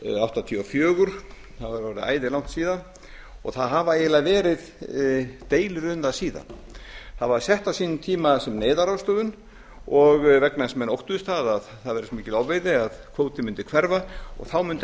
áttatíu og fjögur það var orðið æðilangt síðan og það hafa eiginlega verið deilur um það síðan það var sett á sínum tíma sem neyðarráðstöfun og vegna þess að menn óttuðust að það væri svo mikil ofveiði að kvótinn mundi hverfa og þá mundu